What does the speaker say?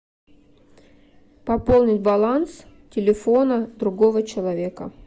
пополнить баланс телефона другого человека